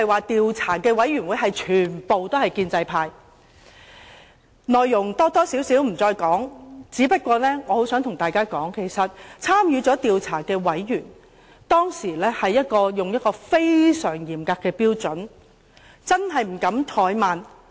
調查委員會討論的內容我不再複述，不過，我想告訴大家，其實參與調查的委員，當時抱持非常嚴格的標準，真的不敢怠慢。